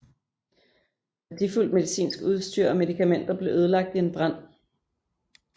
Værdifuldt medicinsk udstyr og medikamenter blev ødelagt i en brand